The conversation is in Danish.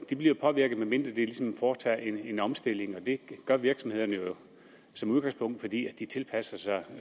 bliver påvirket medmindre de ligesom foretager en omstilling og det gør virksomhederne jo som udgangspunkt fordi de tilpasser sig